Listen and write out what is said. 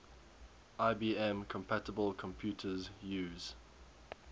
ibm compatible computers use